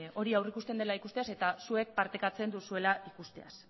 hori aurreikusten dela ikusteaz eta zuek partekatzen duzuela ikusteaz